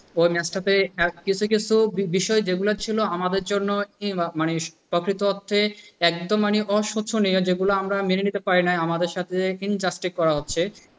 ওই match টাতে এমন কিছু কিছু বিষয় ছিল যেগুলো আমাদের জন্য কি মানে প্রকৃত অর্থে এক তো মানে অশোচনীয় যেগুলো আমরা মেনে নিতে পারি নাই। আমাদের সাথে Injustice করা হচ্ছে।